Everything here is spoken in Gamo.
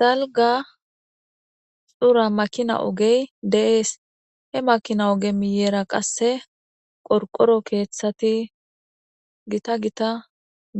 dalga xura makina ogey de7ees he makina oge miyeera qasse qorqoro keeththati gita gita